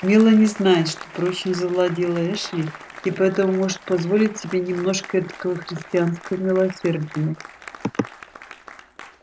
мелани знает что прочно завладела эшли и поэтому может позволить себе немножко этакого христианского милосердия